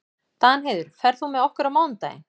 Danheiður, ferð þú með okkur á mánudaginn?